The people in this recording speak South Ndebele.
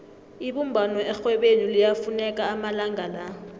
ibumbano erhwebeni liyafuneka amalanga la